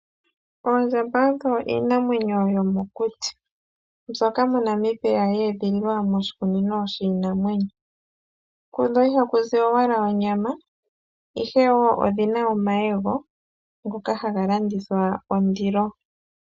Oondjamba odho iinamwenyo yomokuti mbyoka moNamibia yeedhililwa moshikunino shiinamwenyo. Ihakuzi owala onyama ashike ohaku vulu wo okuza omayego ngoka haga landithwa kondilo.